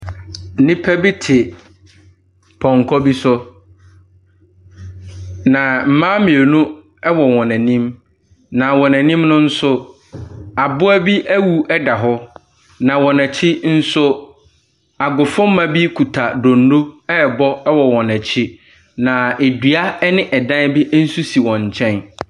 Nnipa bi te pɔnkɔ bi so, na mmaa mmienu wɔ wɔn anim, na wɔn anim nso aboa bi awu da hɔ, na wɔn akyi nso agofomma bi kuta donno rebɔ wɔ wɔn akyi, na dua ne dan bi nso si wɔn nkyɛn.